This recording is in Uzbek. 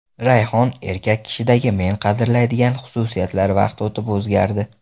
Rayhon: Erkak kishidagi men qadrlaydigan xususiyatlar vaqt o‘tib o‘zgardi.